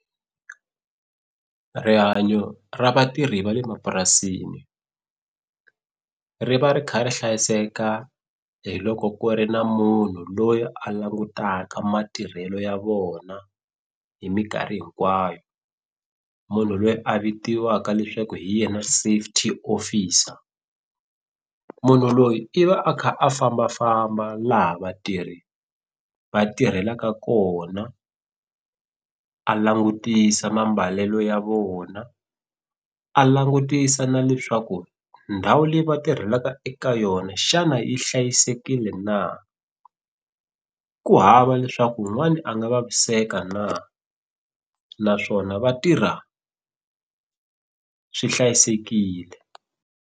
Rihanyo ra vatirhi va le mapurasini ri va ri kha ri hlayiseka hi loko ku ri na munhu loyi a langutaka matirhelo ya vona hi minkarhi hinkwayo munhu loyi a vitiwaka leswaku hi yena safety officer munhu loyi i va a kha a fambafamba laha vatirhi va tirhelaka kona a langutisa mambalelo ya vona a langutisa na leswaku ndhawu leyi va tirhelaka eka yona xana yi hlayisekile na ku hava leswaku wun'wani a nga vaviseka na naswona va tirha swi hlayisekile.